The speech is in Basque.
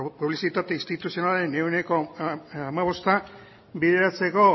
publizitate instituzionalaren ehuneko hamabosta bideratzeko